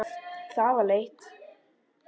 Það var leitt.